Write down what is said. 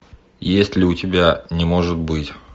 есть ли у тебя не может быть